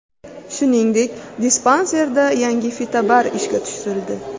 Shuningdek, dispanserda yangi fitobar ishga tushirildi.